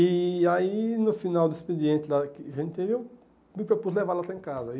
E aí, no final do expediente lá que a gente teve, eu me propus levar ela até em casa. E